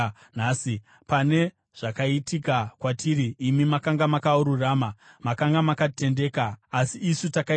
Pane zvakaitika kwatiri, imi makanga makarurama; makanga makatendeka, asi isu takaita zvakaipa.